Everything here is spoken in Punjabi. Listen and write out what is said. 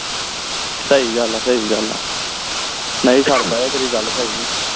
ਸਹੀ ਗੱਲ ਆ ਸਹੀ ਗੱਲ ਆ ਨਹੀਂ ਸਰਦਾ ਇਹ ਤੇਰੀ ਗੱਲ ਸਹੀ ਆ